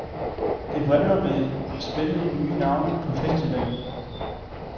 Det vrimler med spændende nye navne på festivalen.